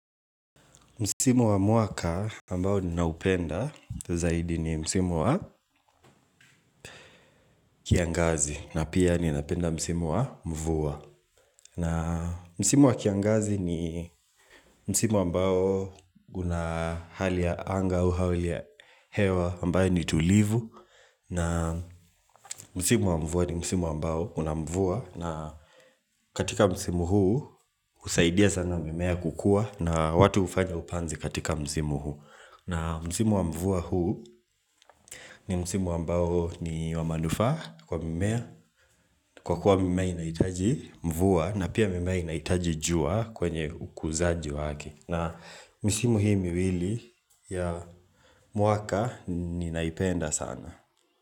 Msimu wa mwaka ambao ninaupenda zaidi ni Msimu wa kiangazi na pia ninapenda Msimu wa mvua na Msimu wa kiangazi ni Msimu ambao guna hali ya anga au hauli ya hewa ambayo ni tulivu na Msimu wa mvua ni Msimu ambao unamvua na katika Msimu huu usaidia sana mimea kukua na watu ufanya upanzi katika Msimu huu na msimu wa mvua huu ni msimu ambao ni wa manufaa kwa mimea, kwa kuwa mimea inaitaji mvua na pia mimea inaitaji jua kwenye ukuzaji wake. Na msimu hii miwili ya mwaka ni naipenda sana.